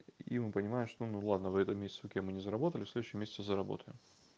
и мы понимаем что ну ладно в этом месяце окей мы не заработали в следующем месяце заработаем